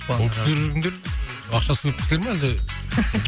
ол кісілер кімдер ақшасы көп кісілер ме әлде